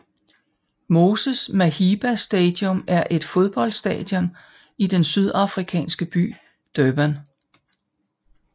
Moses Mabhida Stadium er et fodboldstadion i den sydafrikanske by Durban